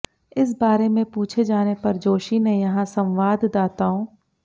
इस बारे में पूछे जाने पर जोशी ने यहां संवाददाताओं